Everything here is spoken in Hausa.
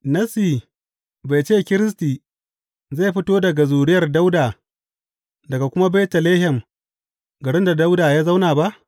Nassi bai ce Kiristi zai fito daga zuriyar Dawuda, daga kuma Betlehem garin da Dawuda ya zauna ba?